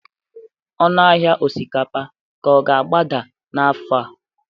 ọnụ ahịa osikapa ka ọ ga-agbada n'afọ a?